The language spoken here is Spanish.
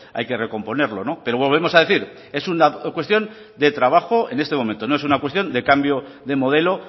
hay que recomponerlo pero volvemos a decir es una cuestión de trabajo en este momento no es una cuestión de cambio de modelo